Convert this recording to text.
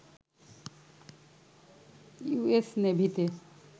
US নেভিতে